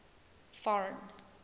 foreign